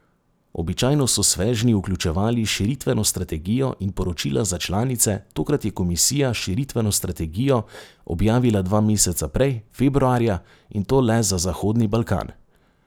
Običajno so svežnji vključevali širitveno strategijo in poročila za članice, tokrat je komisija širitveno strategijo objavila dva meseca prej, februarja, in to le za Zahodni Balkan.